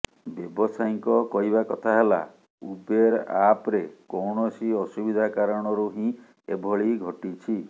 ବ୍ୟବସାୟୀଙ୍କ କହିବା କଥା ହେଲା ଉବେର ଆପରେ କୌଣସି ଅସୁବିଧା କାରଣରୁ ହିଁ ଏଭଳି ଘଟିଛି